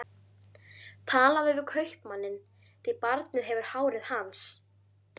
Talaðu við kaupmanninn, því barnið hefur hárið hans.